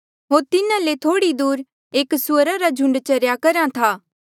होर तिन्हा ले थोह्ड़ी दूर एक सुअरा रा झुंड चरेया करहा था